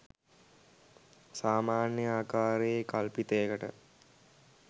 සාමාන්‍ය ආකාරයේ කල්පිතයකට